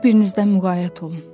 Bir-birinizdən müğayət olun.